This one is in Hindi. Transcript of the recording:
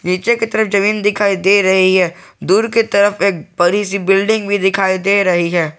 नीचे की तरफ जमीन दिखाई दे रही है दूर की तरफ एक बड़ी सी बिल्डिंग भी दिखाई दे रही है।